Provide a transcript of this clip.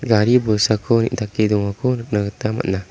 gari bolsako neng·take dongako nikna gita man·a.